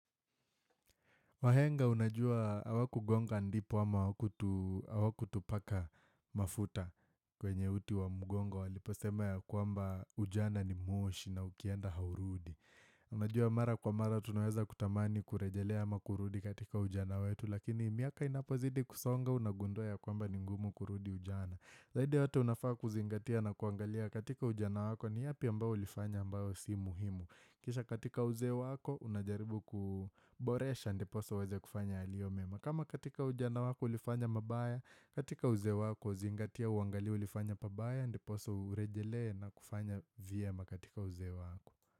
Wahenga unajua hawakugonga ndipo ama hawakutupaka mafuta kwenye uti wa mgongo walipo sema ya kwamba ujana ni moshi na ukienda haurudi. Unajua mara kwa mara tunaweza kutamani kurejelea ama kurudi katika ujana wetu lakini miaka inapozidi kusonga unagundua ya kwamba ni ngumu kurudi ujana. Zaidi ya yote unafaa kuzingatia na kuangalia katika ujana wako ni yapi ambao ulifanya ambao si muhimu. Kisha katika uzee wako unajaribu kuboresha ndiposa uweze kufanya yaliyo mema kama katika ujana wako ulifanya mabaya katika uzee wako zingatia uangalie ulifanya pabaya ndiposa urejelee na kufanya vyema katika uzee wako.